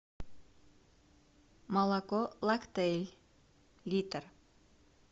молоко лактель литр